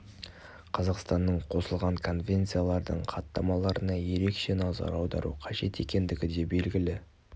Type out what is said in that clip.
қазақстанның қосылған конвенциялардың хаттамаларына ерекше назар аудару қажет екендігі де белгілі